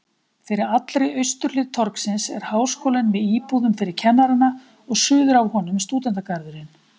Fyrir allri austurhlið torgsins er Háskólinn með íbúðum fyrir kennarana og suður af honum stúdentagarðurinn.